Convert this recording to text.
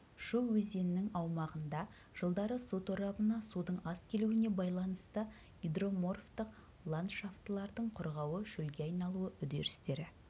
шу өзенінің аумағында жылдары су торабына судың аз келуіне байланысты гидроморфтық ландшафтылардың құрғауы шөлге айналуы үдерістері